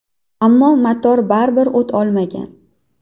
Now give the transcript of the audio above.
Ammo motor baribir o‘t olmagan.